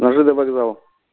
на ж д вокзал